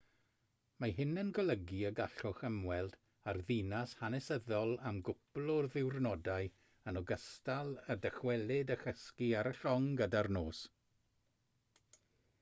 mae hyn yn golygu y gallwch ymweld â'r ddinas hanesyddol am gwpl o ddiwrnodau yn ogystal â dychwelyd a chysgu ar y llong gyda'r nos